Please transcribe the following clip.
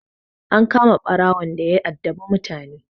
An kama ɓarawon daya addabi mutane.